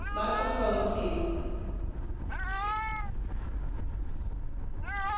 Pani Poseł mówiła o stereotypach, o konieczności walki ze stereotypami.